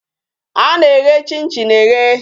A na-eye chin chin eye.